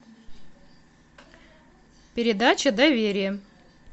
передача доверие